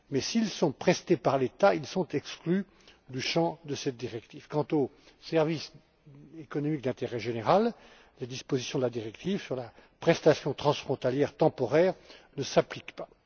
S'ils sont prestés par l'État, ils sont néanmoins exclus du champ de cette directive. Quant aux services économiques d'intérêt général, les dispositions de la directive sur la prestation transfrontalière temporaire ne s'appliquent pas.